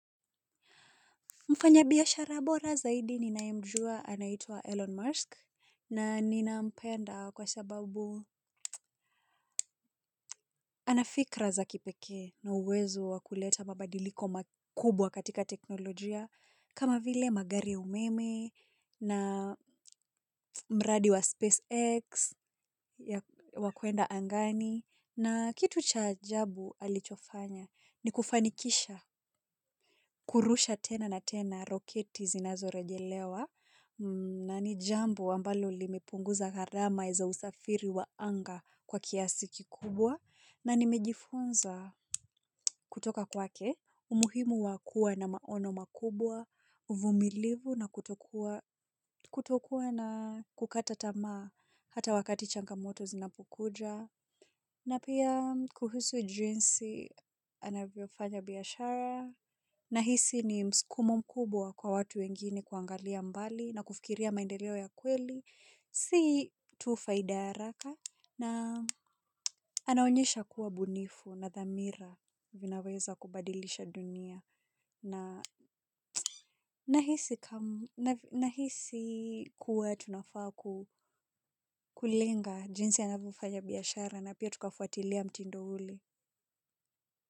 Mfanyabiashara bora zaidi ninayemjua anaitwa Elon Musk na nina mpenda kwa sababu. Anafikra za kipekee na uwezo wa kuleta mabadiliko makubwa katika teknolojia kama vile magari umeme na mradi wa SpaceX wa kuenda angani. Na kitu cha ajabu alichofanya ni kufanikisha kurusha tena na tena roketi zinazorejelewa na ni jambo ambalo limepunguza gharama za usafiri wa anga kwa kiasi kikubwa na nimejifunza kutoka kwake umuhimu wa kuwa na maono makubwa, uvumilivu na kutokuwa na kukata tamaa hata wakati changamoto zinapokuja. Na pia kuhusu jinsi anavyofanya biashara nahisi ni mskumo mkubwa kwa watu wengine kuangalia mbali na kufikiria maendeleo ya kweli. Si tu faida ya haraka na anaonyesha kuwa bunifu na dhamira vinaweza kubadilisha dunia. Na hisi kuwa tunafaa kulenga jinsi anavyofanya biashara na pia tukafuatilia mtindo ule.